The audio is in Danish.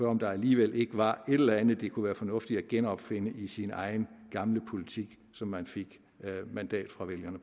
om der alligevel ikke var et eller andet det kunne være fornuftigt at genopfinde i sin egen gamle politik som man fik mandat fra vælgerne